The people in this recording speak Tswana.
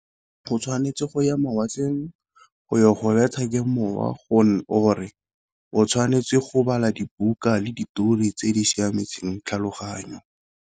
Go tshwanetse go ya mawatleng go ya go bethwa ke mowa, or-e o tshwanetse go bala dibuka le ditori tse di siametseng tlhaloganyo.